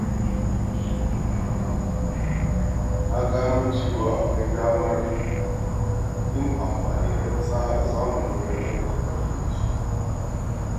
Na gano cewa akwai damar yin amfani da fasahar zamani wajen tallata kayayyaki.